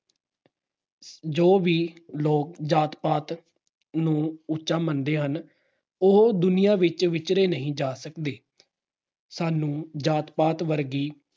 ਜੋ ਵੀ ਲੋਕ ਜਾਤ-ਪਾਤ ਨੂੰ ਉਚਾ ਮੰਨਦੇ ਹਨ, ਉਹ ਦੁਨੀਆ ਵਿੱਚ ਵਿਚਰੇ ਨਹੀਂ ਜਾ ਸਕਦੇ। ਸਾਨੂੰ ਜਾਤ-ਪਾਤ ਵਰਗੀ